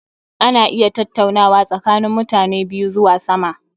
Ana iya tattaunawa tsakanin mutani biyu zuwa sama